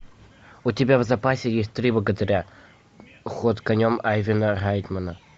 у тебя в запасе есть три богатыря ход конем айвина райтмена